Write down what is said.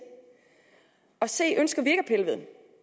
og c ønsker vi